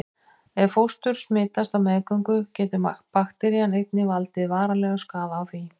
Ef fóstur smitast á meðgöngu getur bakterían einnig valdið varanlegum skaða á því.